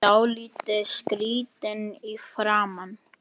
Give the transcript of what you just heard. Dálítið skrýtin í framan.